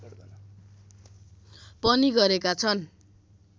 पनि गरेका छन्